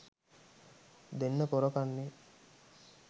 දෙන්න පොර කන්නේ